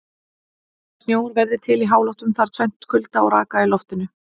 Til að snjór verði til í háloftunum þarf tvennt: Kulda og raka í loftinu.